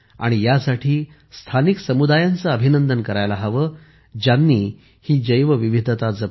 ह्या साठी स्थानिक समुदायांचे अभिनंदन करायला हवे ज्यांनी ही जैवविविधता जपली